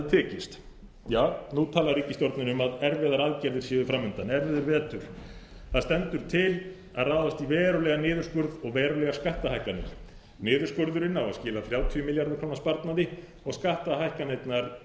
tekist nú talar ríkisstjórnin um að erfiðar aðstæður séu fram undan erfiður vetur það stendur til að ráðast í verulegan niðurskurð og verulegar skattahækkanir niðurskurðurinn á að skila þrjátíu milljarða króna sparnaði og skattahækkanirnar